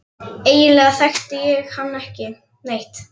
Eiginlega þekkti ég hann ekki neitt.